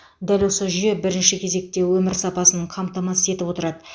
дәл осы жүйе бірінші кезекте өмір сапасын қамтамасыз етіп отырады